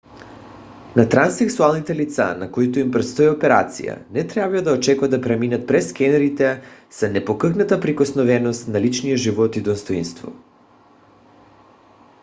на транссексуалните лица на които им предстои операция не трябва да очакват да преминат през скенерите с непокътната неприкосновеност на личния живот и достойнство